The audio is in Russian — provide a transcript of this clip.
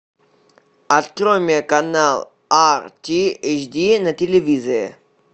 открой мне канал ар ти эйч ди на телевизоре